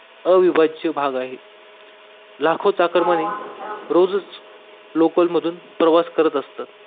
भाग आहे लाखो चाकर रोजच लोकल मधनं प्रवास करतात